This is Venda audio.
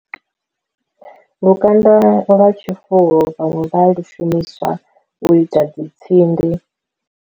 Lukanda lwa tshifuwo vhaṅwe vha lu shumiswa u ita dzi tsindi.